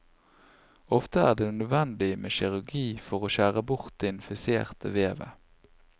Ofte er det nødvendig med kirurgi for å skjære bort det infiserte vevet.